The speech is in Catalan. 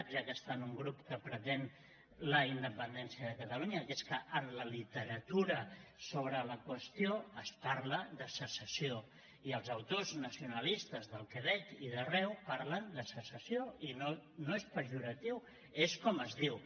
ja que està en un grup que pretén la independència de catalunya que és que en la literatura sobre la qüestió es parla de secessió i els autors nacionalistes del quebec i d’arreu parlen de secessió i no és pejoratiu és com es diu